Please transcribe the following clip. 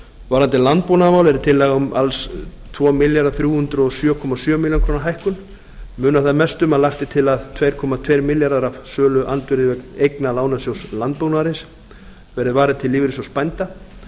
varðandi landbúnaðarmál er tillaga um alls tvö þúsund þrjú hundruð og sjö komma sjö milljónir króna hækkun munar þar mest um að lagt er til að tvö komma tveir milljarðar af söluandvirði eigna lánasjóðs landbúnaðarins verði varið til lífeyrissjóðs bænda